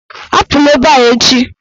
Apụla ebe a echi!